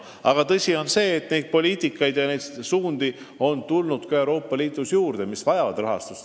Aga tõsi on, et poliitikasuundi on Euroopa Liidus juurde tulnud ja need vajavad rahastust.